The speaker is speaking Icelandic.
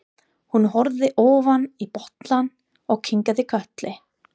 Hún horfði ofan í bollann og kinkaði kolli.